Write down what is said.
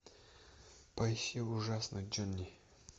поищи ужасный джонни